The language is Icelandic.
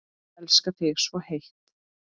Elska þig svo heitt.